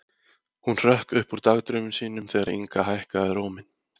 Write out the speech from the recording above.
Hún hrökk upp úr dagdraumum sínum þegar Inga hækkaði róminn.